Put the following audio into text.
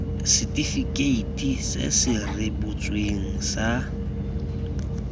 setifikeiti se se rebotsweng sa